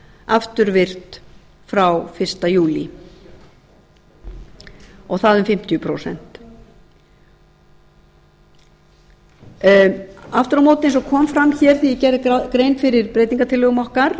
afturvirkt frá fyrsta júlí og það um fimmtíu prósent aftur á móti eins og kom fram hér þegar ég gerði grein fyrir breytingartillögum okkar